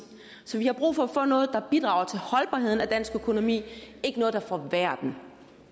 vi har brug for at få noget der bidrager til holdbarheden af dansk økonomi ikke noget der forværrer